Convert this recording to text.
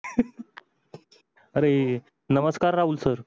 अरे नमस्कार राहुल सर